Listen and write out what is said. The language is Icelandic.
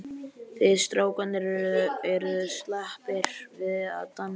Þið strákarnir eruð slappir við að dansa.